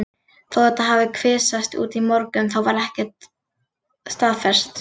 Þó þetta hafi kvisast út í morgun þá var það ekkert staðfest.